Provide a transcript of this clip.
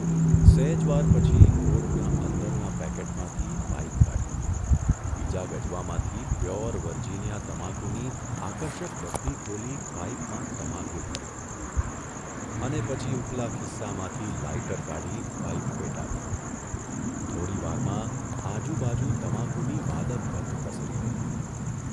સહેજ વાર પછી કોટના અંદરના પેકેટમાંથી પાઇપ કાઢી, બીજા ગજવામાંથી પ્યોર વર્જિનીયા તમાકુની આકર્ષક ડબ્બી ખોલી પાઇપમાં તમાકુ ભર્યો અને પછી ઊપલા ખિસ્સામાંથી લાઇટર કાઢી પાઇપ પેટાવી, થોડીવારમાં આજુબાજુ તમાકુની માદક ગંધ પ્રસરી રહી.